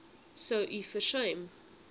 sou u versuim